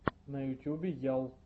на ютюбе ял